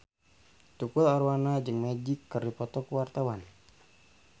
Tukul Arwana jeung Magic keur dipoto ku wartawan